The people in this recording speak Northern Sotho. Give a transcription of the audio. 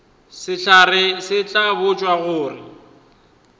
sehlare se tla botšwa gore